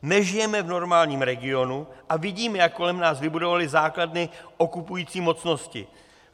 Nežijeme v normálním regionu a vidíme, jak kolem nás vybudovaly základny okupující mocnosti.